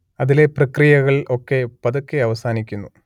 അതിലെ പ്രക്രിയകൾ ഒക്കെ പതുക്കെ അവസാനിക്കുന്നു